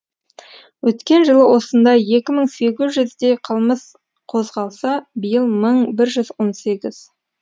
өткен жылы осындай екі мың сегіз жүздей қылмыс қозғалса биыл мың бір жүз он сегіз